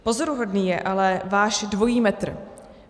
Pozoruhodný je ale váš dvojí metr.